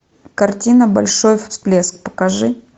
картина большой всплеск покажи